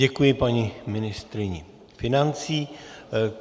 Děkuji paní ministryni financí.